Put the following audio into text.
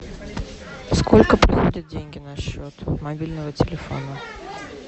сколько приходят деньги на счет мобильного телефона